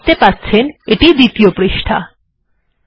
আপনারা দেখতে পাচ্ছেন এটি দ্বিতীয় পৃষ্ঠা